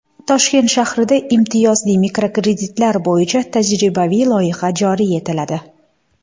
Toshkent shahrida imtiyozli mikrokreditlar bo‘yicha tajribaviy loyiha joriy etiladi.